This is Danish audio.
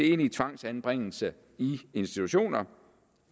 egentlige tvangsanbringelser i institutioner